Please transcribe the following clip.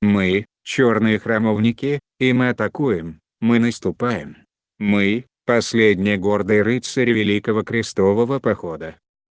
мы чёрные храмовники и мы атакуем мы наступаем мы последние гордые рыцари великого крестового похода